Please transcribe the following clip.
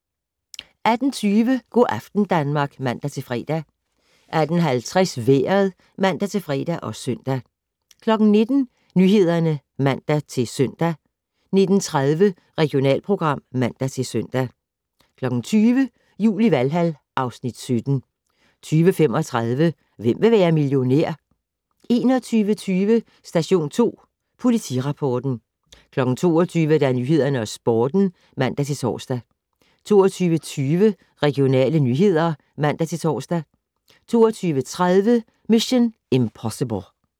18:20: Go' aften Danmark (man-fre) 18:50: Vejret (man-fre og søn) 19:00: Nyhederne (man-søn) 19:30: Regionalprogram (man-søn) 20:00: Jul i Valhal (Afs. 17) 20:35: Hvem vil være millionær? 21:25: Station 2 Politirapporten 22:00: Nyhederne og Sporten (man-tor) 22:20: Regionale nyheder (man-tor) 22:30: Mission: Impossible